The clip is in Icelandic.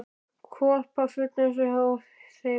Hvolpafull, eins og hjá þeim gamla forðum.